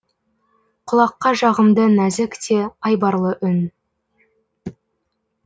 құлаққа жағымды нәзік те айбарлы үн